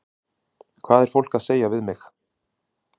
Hvað er fólk að segja við mig?